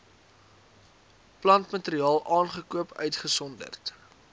plantmateriaal aangekoop uitgesonderd